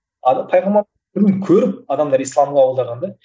көріп адамдар ислам қабылдаған да